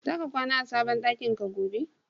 Zaka kwana a sabon ɗakin ka gobe?